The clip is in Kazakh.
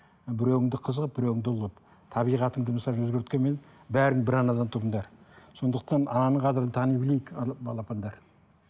біреуіңді қыз қылып біреуіңді ұл қылып табиғатыңды өзгерткенмен бәрің бір анадан тудыңдар сондықтан ананың қадірін тани білейік балапандар